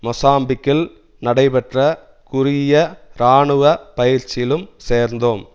மொசாம்பிக்கில் நடைப்பெற்ற குறுகிய இராணுவ பயிற்சியிலும் சேர்ந்தோம்